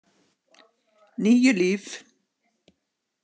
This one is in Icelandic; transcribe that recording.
Níu líf